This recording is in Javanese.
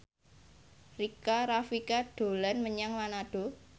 Rika Rafika dolan menyang Manado